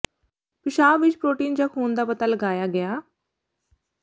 ਪਿਸ਼ਾਬ ਵਿੱਚ ਪ੍ਰੋਟੀਨ ਜਾਂ ਖੂਨ ਦਾ ਪਤਾ ਲਗਾਇਆ ਗਿਆ